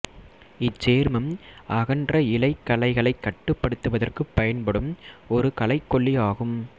இச்சேர்மம் அகன்ற இலைக் களைகளைக் கட்டுப்படுத்துவதற்குப் பயன்படும் ஒரு களைக்கொல்லி ஆகும்